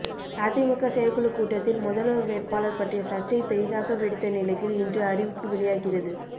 அதிமுக செயற்குழு கூட்டத்தில் முதல்வர் வேட்பாளர் பற்றிய சர்ச்சை பெரிதாக வெடித்த நிலையில் இன்று அறிவிப்பு வெளியாகிறது